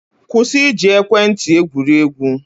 Kwụsị iji ekwentị egwuri egwu!.